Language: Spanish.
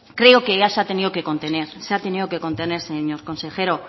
creo que ya se ha tenido que contener se ha tenido que contener señor consejero